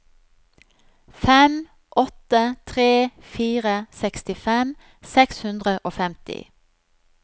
fem åtte tre fire sekstifem seks hundre og femti